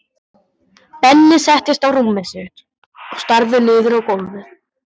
Benni settist á rúmið sitt og starði niður á gólfið.